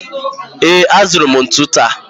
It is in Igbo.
Ee, azụrụ m ntụ taa